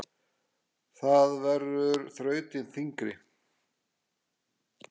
Það verður þrautin þyngri.